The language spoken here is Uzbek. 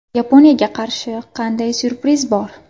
Yaponiyaga qarshi qanday syurpriz bor?